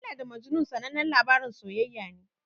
Laila da Majnun sanannen labarin soyayya ne.